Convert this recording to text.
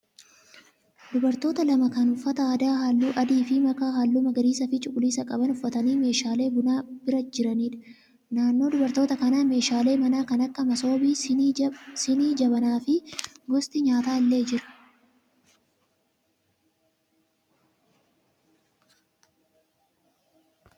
Dubartoota lama kan uffata aadaa halluu adii fi makaa halluu magariisaa fi cuquliisa qaban uffatanii meeshaalee bunaa bira jiraniidha. Naannoo dubartoota kanaa meeshaalee manaa kan akka masoobii, sinii, jabanaa fi gosti nyaataa illee jira.